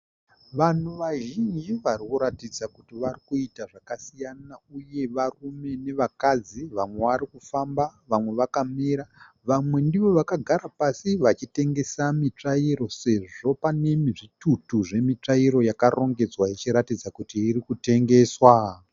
Vanhu vazhinji varikuratidza kuti vari kuita zvakasiyana, uye varume nevakadzi vamwe varikufamba vamwe vakamira vamwe ndivovakagara pasi vachitengesa mitsvairo, sezvo pane zvitutu zvemitsvairo yakarongedzwa ichiratidza kuti irikutengesewa.